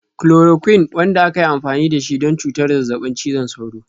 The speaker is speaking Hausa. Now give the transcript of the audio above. Chloroquine, wanda aka yi amfani da shi don cutar zazzabin cizon sauro.